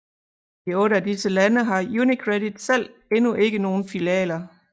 I otte af disse lande har UniCredit selv endnu ikke nogle filialer